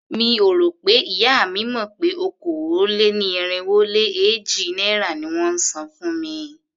Mi ò rò pé ìyá mi mọ̀ pé okòó-lé-ní-irínwó-lé-éjì náírà ni wón ń san fún mi.